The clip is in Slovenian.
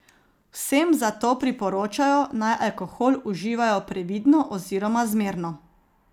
Vsem zato priporočajo, naj alkohol uživajo previdno, oziroma zmerno.